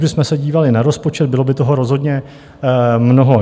Kdybychom se dívali na rozpočet, bylo by toho rozhodně mnoho.